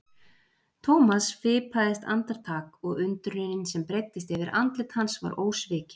Thomas fipaðist andartak og undrunin sem breiddist yfir andlit hans var ósvikin.